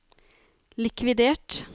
likvidert